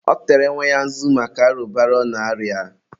ọ tere nwa ya nzu maka arụbara ọ na-arịa.